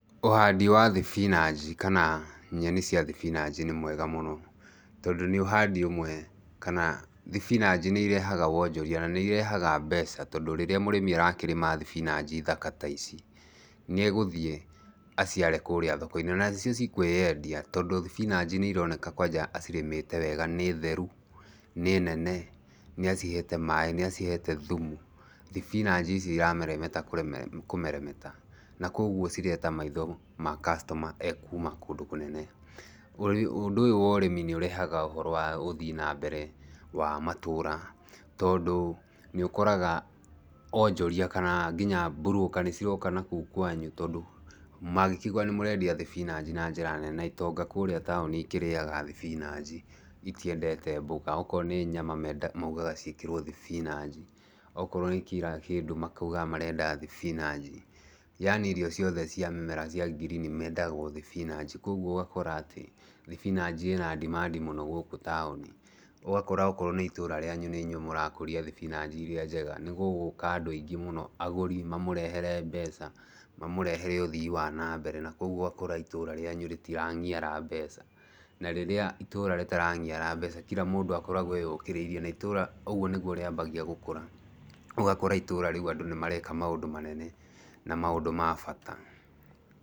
Ũhandi wa thibinanji kana nyeni cia thibinanji nĩ mwega mũno. Tondũ nĩ ũhandi ũmwe, kana thibinanji nĩ irehaga wonjoria, na nĩ irehaga mbeca. Tondũ rĩrĩa mũrĩmi arakĩrĩma thibinanji thaka ta ici, nĩ egũthiĩ aciare kũũrĩa thoko-inĩ, na nĩcio cikũĩendia. Tondũ thibinanji nĩ ironeka kwanja acirĩmĩte wega, nĩ theru, nĩ nene, na acihete maĩ, nĩ acihete thumu. Thibinanji ici irameremeta kũmeremeta. Na kũguo cireta maitho ma customer ee kuuma kũndũ kũnene. Ũndũ ũyũ wa ũrĩmi nĩ ũrehaga ũhoro wa ũthii na mbere wa matũũra, tondũ, nĩ ũkoraga onjoria kana nginya mburũka nĩ ciroka na kũu kwanyu tondũ mangĩkĩigua nĩ mũrendia thibinanji na njĩra nene itonga kũũrĩa taũni ikĩrĩaga thibinanji itiendete mbũga. Okorwo nĩ nyama mendaga maugaga ciĩkĩrwo thibinanji, okorwo nĩ kira kĩndũ makauga marenda thibinanji. Yaani irio ciothe cia mũmera cia ngirini mendaga o thibinanji. Kũguo ũgakora atĩ, thibinanji ĩna demand mũno gũkũ taũni. Ũgakora okorwo nĩ itũũra rĩanyu nĩ nyuĩ mũrakũria thibinanji irĩa njega, nĩ gũgũka andũ aingĩ mũno, agũri mamũrehere mbeca, mamũrehere ũthii wa na mbere. Na kũguo ũgakora itũũra rĩanyu rĩtirang'iara mbeca. Na rĩrĩa itũũra rĩtarang'iara mbeca, kira mũndũ akoragwo eyũkĩrĩirie, na itũũra ũguo nĩguo rĩambagia gũkũra. Ũgakora itũũra rĩu andũ nĩ mareka maũndũ manene na maũndũ ma bata.